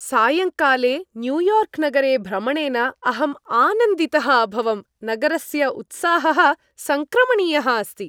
सायङ्काले न्यूयार्क् नगरे भ्रमणेन अहम् आनन्दितः अभवम् नगरस्य उत्साहः सङ्क्रमणीयः अस्ति।